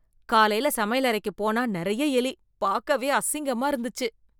காலையில் சமையலறைக்கு போனா நிறைய எலி, பாக்கவே அசிங்கமா இருந்துச்சு.